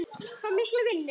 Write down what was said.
Fái mikla vinnu.